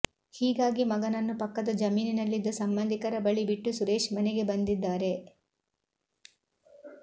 ಹೀಗಾಗಿ ಮಗನನ್ನು ಪಕ್ಕದ ಜಮೀನಿನಲ್ಲಿದ್ದ ಸಂಬಂಧಿಕರ ಬಳಿ ಬಿಟ್ಟು ಸುರೇಶ್ ಮನೆಗೆ ಬಂದಿದ್ದಾರೆ